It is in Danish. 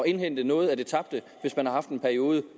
indhente noget af det tabte hvis man har haft en periode